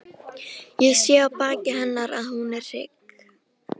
Ég sé á baki hennar að hún er hrygg.